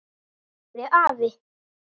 sagði afi.